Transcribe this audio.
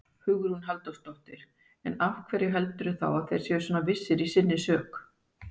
Hugrún Halldórsdóttir: En af hverju heldurðu þá að þeir séu svona vissir í sinni sök?